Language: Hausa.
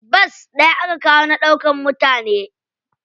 Bas ɗaya aka kawo na ɗaukar mutane.